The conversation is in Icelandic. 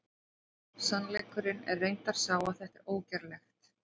Sannleikurinn er reyndar sá að þetta er ógerlegt!